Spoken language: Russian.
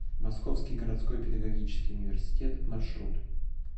московский городской педагогический университет маршрут